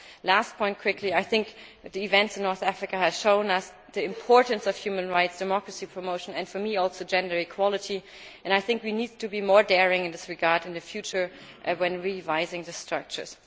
Last point, quickly, the events in North Africa have shown us the importance of human rights and democracy promotion, and for me also gender equality, and we need to be more daring in this regard in the future when revising the structures.